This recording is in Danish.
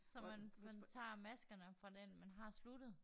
Så man man tager maskerne fra den man har sluttet?